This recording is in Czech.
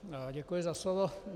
Děkuji za slovo.